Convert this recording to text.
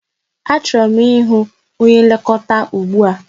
Achọrọ m ịhụ onye nlekọta ụgbụa!